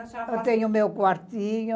Eu tenho meu quartinho.